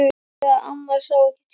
Og þegar amma sá ekki til.